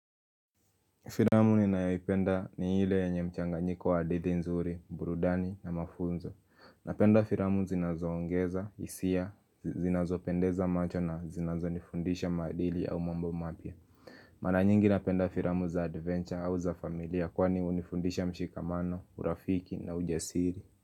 Filamu ninayoipenda ni ile yenye mchanganyiko wa hadithi nzuri, burudani na mafunzo Napenda filamu zinazoongeza, hisia, zinazopendeza macho na zinazonifundisha madili au mambo mapya Mara nyingi napenda filamu za adventure au za familia kwani hunifundisha mshikamano, urafiki na ujasiri.